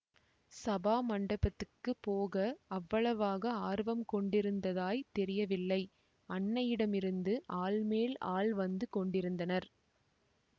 சபாமண்டபத்துக்குப் போக அவ்வளவாக ஆர்வம் கொண்டிருந்ததாய்த் தெரியவில்லை அன்னையிடமிருந்து ஆள் மேல் ஆள் வந்து கொண்டிருந்தனர்